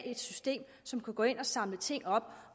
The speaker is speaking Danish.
et system som kan gå ind og samle ting op